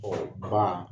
ba